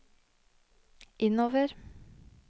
innover